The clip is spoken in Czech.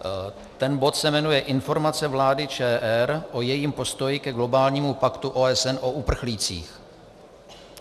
Ten bod se jmenuje Informace vlády ČR o jejím postoji ke globálnímu paktu OSN o uprchlících.